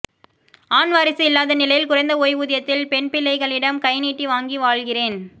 ஆண் வாரிசு இல்லாத நிலையில் குறைந்த ஓய்வூதியத்தில் பெண்பிள்ளைகளிடம் கைநீட்டி வாங்கி வாழ்கிறேன்